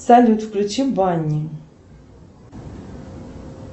салют включи банни